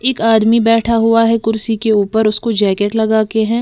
एक आदमी बैठा हुआ है कुर्सी के ऊपर उसको जैकेट लगा के हैं।